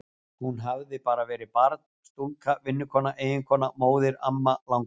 Hún hafði bara verið barn, stúlka, vinnukona, eiginkona, móðir, amma, langamma.